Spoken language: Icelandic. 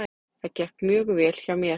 Það gekk mjög vel hjá mér.